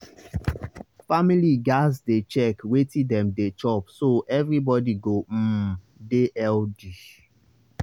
families gats dey check wetin dem dey chop so everybody go um dey healthy.